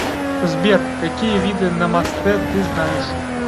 сбер какие виды намастэ ты знаешь